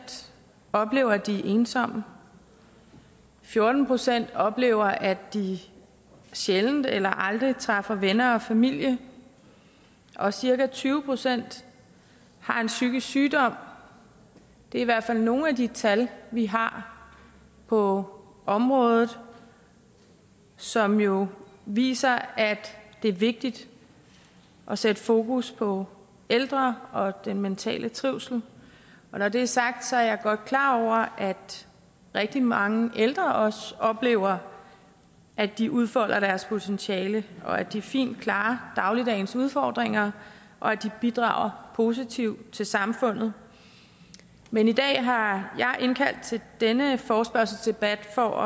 oplever at de er ensomme fjorten procent oplever at de sjældent eller aldrig træffer venner og familie og cirka tyve procent har en psykisk sygdom det er i hvert fald nogle af de tal vi har på området som jo viser at det er vigtigt at sætte fokus på ældre og den mentale trivsel og når det er sagt er jeg godt klar over at rigtig mange ældre også oplever at de udfolder deres potentiale og at de fint klarer dagligdagens udfordringer og at de bidrager positivt til samfundet men i dag har jeg indkaldt til denne forespørgselsdebat for